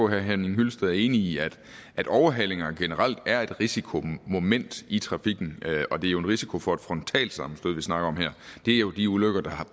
henning hyllested er enig i at overhalinger generelt er et risikomoment i trafikken og det er jo en risiko for et frontalsammenstød vi snakker om her det er jo de ulykker der